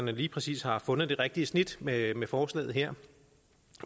lige præcis har fundet det rigtige snit med forslaget her